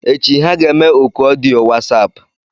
Echi, ha ga-eme oku ọdịyo Wasapu.